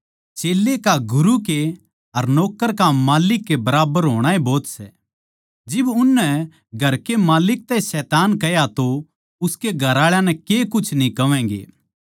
चेल्लै का गुरू के अर नौक्कर का माल्लिक के बराबर होणा ए भोत सै जिब उननै घर के माल्लिक तै शैतान कह्या तो उसके घरआळां नै के कुछ न्ही कहवैगें